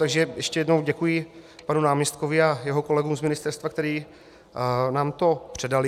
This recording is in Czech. Takže ještě jednou děkuji panu náměstkovi a jeho kolegům z ministerstva, kteří nám to předali.